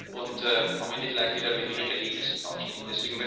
und am Ende vielleicht wieder mit wenigen Ergebnissen dastehen.